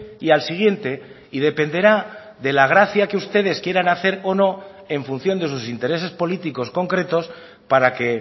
y al siguiente y dependerá de la gracia que ustedes quieran hacer o no en función de sus intereses políticos concretos para que